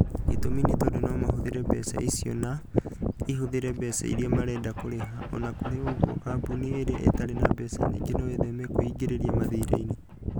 Gĩtũmi nĩ tondũ no mahũthĩre mbeca icio na ihũthĩre mbeca iria marenda kũrĩha. O na kũrĩ ũguo, kambuni iria itarĩ na mbeca nyingĩ no itheme kwĩingĩria mathiirĩ-inĩ.